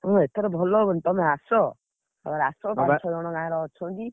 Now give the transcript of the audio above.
ହୁଁ ଏଥର ଭଲ ହବନି ତମେ ଆସ। ଆସ ପାଞ୍ଚ ଛଅଜଣ ଗାଁରେ, ଅଛନ୍ତି।